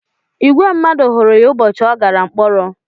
Ìgwè mmadụ hụrụ ya ụbọchị ọ gàrà mkpọrọ